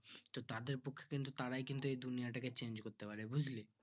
তো তাদের পক্ষে কিন্তু তারাই কিন্তু এই দুনিয়াটাকে change করতে পারে বুজলি